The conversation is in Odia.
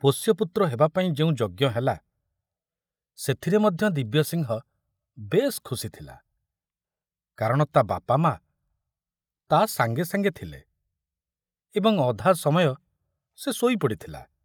ପୋଷ୍ୟପୁତ୍ର ହେବାପାଇଁ ଯେଉଁ ଯଜ୍ଞ ହେଲା ସେଥିରେ ମଧ୍ୟ ଦିବ୍ୟସିଂହ ବେଶ ଖୁସି ଥିଲା, କାରଣ ତା ବାପା ମା ତା ସାଙ୍ଗେ ସାଙ୍ଗେ ଥିଲେ ଏବଂ ଅଧା ସମୟ ସେ ଶୋଇ ପଡ଼ିଥିଲା।